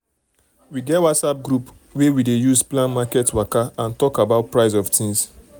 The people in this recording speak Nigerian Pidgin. we get whatsapp group wey we dey use plan market waka and talk about price of things.